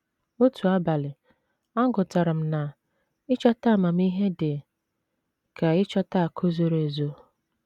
Otu abalị, agụtara m na ‘ ịchọta amamihe dị ka ịchọta akụ̀ zoro ezo. ’